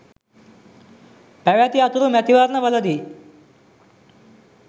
පැවැති අතුරු මැතිවරණ වලදී